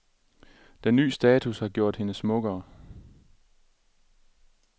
Den ny status har gjort hende smukkere.